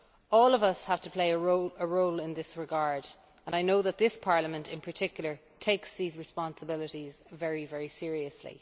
All of us have a role to play in this regard and I know that this Parliament in particular takes these responsibilities very, very seriously.